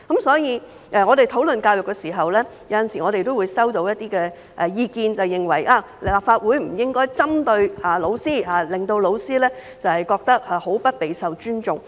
所以，我們討論教育時，有時候也會收到一些意見，認為立法會不應針對教師，令教師感到極不受尊重。